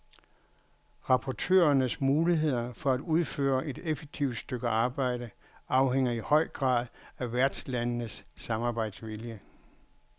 Rapportørernes muligheder for at udføre et effektivt stykke arbejde afhænger i høj grad af værtslandenes samarbejdsvilje.